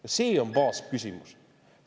Ja see on baasküsimus.